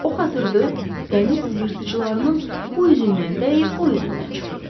O xatırda dəniz yırtıcılarının bu üzündən dəyib o üzündən çıxırdı.